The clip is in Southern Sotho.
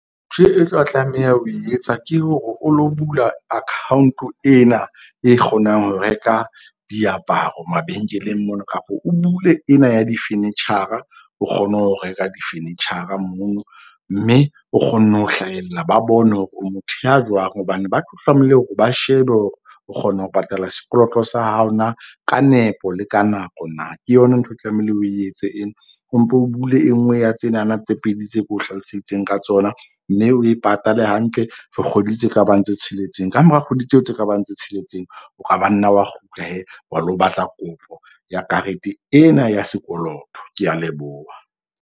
Ntho e tlo tlameha ho e etsa ke hore o lo bula account-o ena e kgonang ho reka diaparo mabenkeleng mona kapa o bule ena ya di-furniture-a. O kgone ho reka di-furniture-a moo mme o kgone ho hlahella. Ba bone hore o motho ya jwang hobane ba tlo tlamehile hore ba shebe hore o kgona ho patala sekoloto sa hao na ka nepo le ka nako na. Ke yona ntho e tlamehile o etse ena. O mpo o bule e nngwe ya tsenana tse pedi tse ke o hlaloseditseng ka tsona. Mme o e patale hantle for kgwedi tse ka bang tse tsheletseng, ka mora kgwedi tseo tse ka bang tse tsheletseng. O ka ba nna wa kgutla wa lo batla kopo ya karete ena ya sekoloto. Ke a leboha.